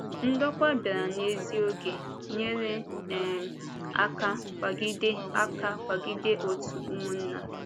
Ndòkwà bịara n’ézí oge, nyere um aka kwàgide aka kwàgide òtù Ụmụ̀nnà.